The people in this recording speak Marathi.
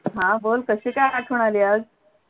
हा बोल कशी काय आठवण आली आज